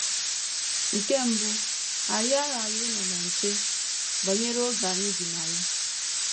Nke mbụ, anyị aghaghị ịnọ na nche banyere oge anyị bi na ya.